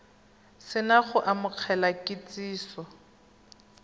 se na go amogela kitsiso